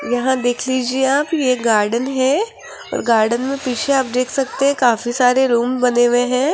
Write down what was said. यहां देख लीजिए आप ये गार्डन है और गार्डन मे आप पीछे देख सकते है काफी सारे रूम बने हुए है।